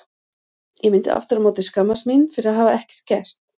Ég myndi aftur á móti skammast mín fyrir að hafa ekkert gert.